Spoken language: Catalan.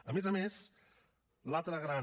a més a més l’altra gran